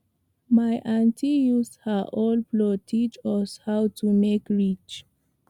my auntie use her old plow teach us how to make ridge